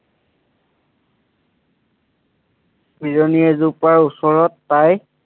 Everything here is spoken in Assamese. পিৰণি এজোপা ওচৰত পায়